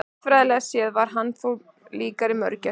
Vistfræðilega séð var hann þó líkari mörgæsum.